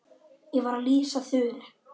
Ég var að lýsa Þuru.